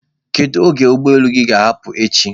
Kedu oge ụgbọ elu gị ga-ahapụ echi?